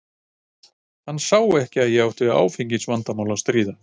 Hann sá ekki að ég átti við áfengisvandamál að stríða.